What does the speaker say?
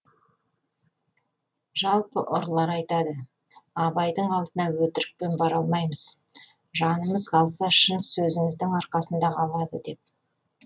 жалпы ұрылар айтады абайдың алдына өтірікпен бара алмаймыз жанымыз қалса шын сөзіміздің арқасында қалады деп